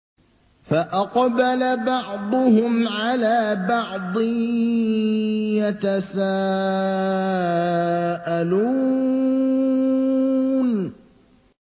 فَأَقْبَلَ بَعْضُهُمْ عَلَىٰ بَعْضٍ يَتَسَاءَلُونَ